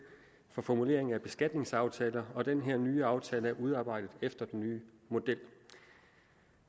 for formulering af beskatningsaftaler og den her nye aftale er udarbejdet efter den nye model